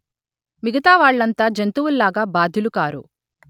మిగతా వాళ్ళంతా జంతువుల్లాగా బాధ్యులుకారు